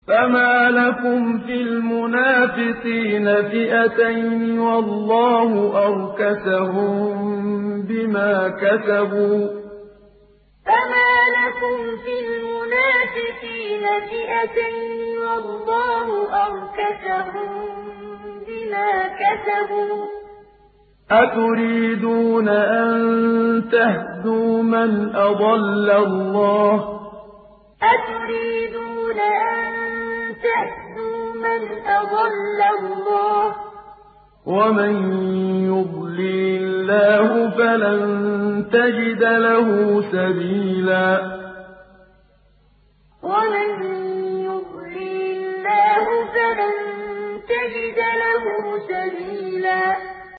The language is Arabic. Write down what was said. ۞ فَمَا لَكُمْ فِي الْمُنَافِقِينَ فِئَتَيْنِ وَاللَّهُ أَرْكَسَهُم بِمَا كَسَبُوا ۚ أَتُرِيدُونَ أَن تَهْدُوا مَنْ أَضَلَّ اللَّهُ ۖ وَمَن يُضْلِلِ اللَّهُ فَلَن تَجِدَ لَهُ سَبِيلًا ۞ فَمَا لَكُمْ فِي الْمُنَافِقِينَ فِئَتَيْنِ وَاللَّهُ أَرْكَسَهُم بِمَا كَسَبُوا ۚ أَتُرِيدُونَ أَن تَهْدُوا مَنْ أَضَلَّ اللَّهُ ۖ وَمَن يُضْلِلِ اللَّهُ فَلَن تَجِدَ لَهُ سَبِيلًا